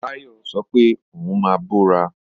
Táyọ̀ sọ pé òun máa bọ́ra